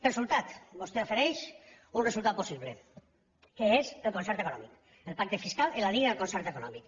resultat vostè ofereix un resultat possible que és el concert econòmic el pacte fiscal en la línia del concert econòmic